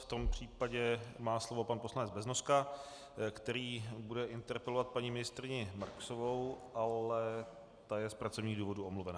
V tom případě má slovo pan poslanec Beznoska, který bude interpelovat paní ministryni Marksovou, ale ta je z pracovních důvodů omluvena.